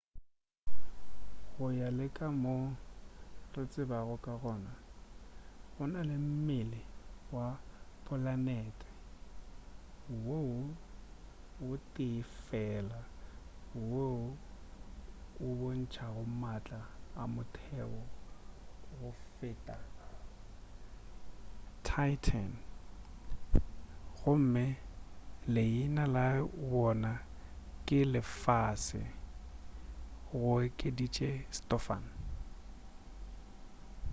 go ya le ka mo re tsebago ka gona go na le mmele wa polanete wo tee fela wo o bontšago maatla a motheo go feta titan gomme leina la yona ke lefase go okeditše stofan